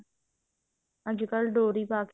ਅੱਜਕਲ ਡੋਰੀ ਪਾ ਕਿ